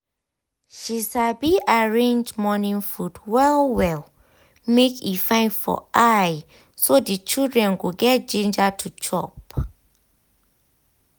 she sabi arrange morning food well well make e fine for eye so the children go get ginger to chop.